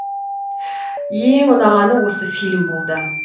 ең ұнағаны осы фильм болды